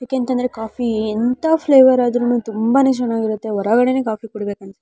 ಯಾಕೆ ಅಂತ ಅಂದ್ರೆ ಕಾಫೀ ಎಂಥ ಫ್ಲೇವರ್ ಆದ್ರೂನು ತುಂಬಾನೇ ಚೆನಾಗಿರುತ್ತೆ ಹೊರಗಡೆನೆ ಕಾಫೀ ಕುಡಿಬೇಕು ಅನ್ಸುತ್ತೆ .